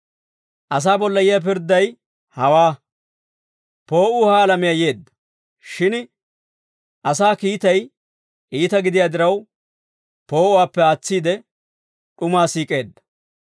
Asaa bolla yiyaa pirdday hawaa: Poo'uu ha alamiyaa yeedda; shin asaa kiitay iita gidiyaa diraw, poo'uwaappe aatsiide, d'umaa siik'eedda.